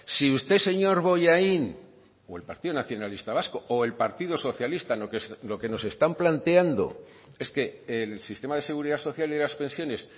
si usted señor bollain o el partido nacionalista vasco o el partido socialista lo que nos están planteando es que el sistema de seguridad social y las pensiones